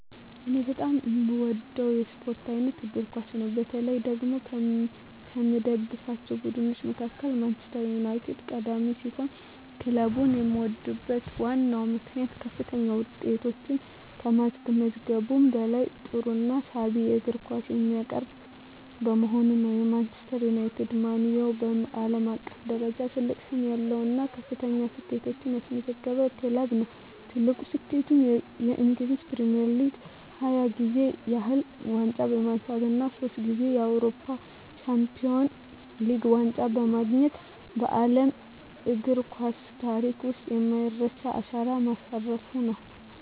እኔ በጣም የምወደው የስፖርት አይነት እግር ኳስ ነው። በተለይ ደግሞ ከምደግፋቸው ቡድኖች መካከል ማንቸስተር ዩናይትድ ቀዳሚ ሲሆን፣ ክለቡን የምወድበት ዋነኛው ምክንያት ከፍተኛ ውጤቶችን ከማስመዝገቡም በላይ ጥሩና ሳቢ የእግር ኳስ የሚያቀርብ በመሆኑ ነው። ማንቸስተር ዩናይትድ (ማን ዩ) በዓለም አቀፍ ደረጃ ትልቅ ስም ያለው እና ከፍተኛ ስኬቶችን ያስመዘገበ ክለብ ነው። ትልቁ ስኬቱም በእንግሊዝ ፕሪሚየር ሊግ 20 ጊዜ ያህል ዋንጫ በማንሳት እና ሶስት ጊዜ የአውሮፓ ቻምፒየንስ ሊግ ዋንጫን በማግኘት በዓለም እግር ኳስ ታሪክ ውስጥ የማይረሳ አሻራ ማሳረፉ ነው።